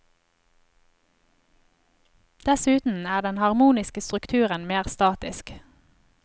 Dessuten er den harmoniske strukturen mer statisk.